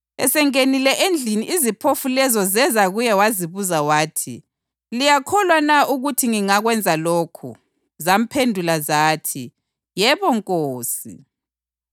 Esengenile endlini iziphofu lezo zeza kuye wazibuza wathi, “Liyakholwa na ukuthi ngingakwenza lokhu?” Zamphendula zathi, “Yebo Nkosi.”